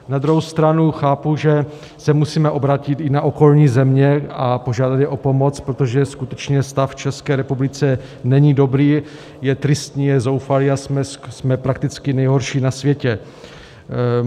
Na druhou stranu chápu, že se musíme obrátit i na okolní země a požádat je o pomoc, protože skutečně stav v České republice není dobrý, je tristní, je zoufalý a jsme prakticky nejhorší na světě.